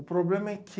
O problema é que